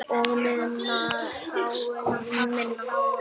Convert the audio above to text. Og munar um minna!